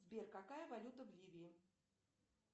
сбер какая валюта в ливии